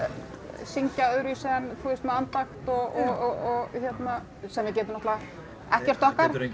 syngja öðruvísi en með andakt og hérna sem við getum náttúrulega ekkert okkar